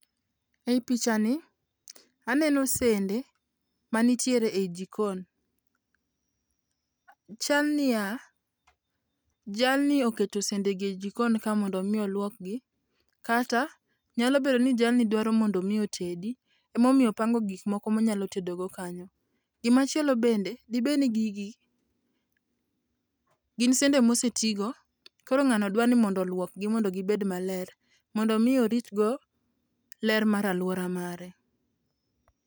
E pichani, aneno sende manitiere e jikon, chalniya jalni oketo sende e jikonkae mondo mi oluokgi kata nyalobedo ni jalni dwaro mondo mi otedi emomiyo opango gik moko ma onyalo tedogo kanyo, gimachielo bende di bed ni gigi gin sende mosetigo koro nga'nno dwaro ni mondo olwokgi mondo gi bed maler mondo mi oritgo ler mara luora mare.